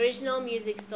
original music score